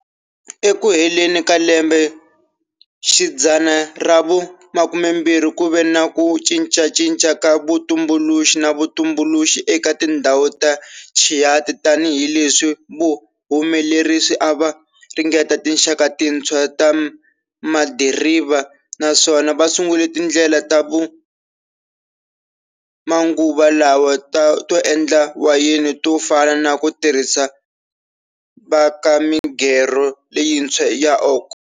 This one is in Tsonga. Eku heleni ka lembe xidzana ravu 20 kuve na ku cincacinca ka vutumbuluxi na vutumbuluxi eka tindzhawu ta Chianti tani hileswi vahumelerisi ava ringeta tinxaka tintshwa ta madiriva naswona vasungule tindlela ta manguva lawa to endla wayeni tofana naku tirhisiwa ka migerho leyintshwa ya oak.